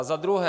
A za druhé.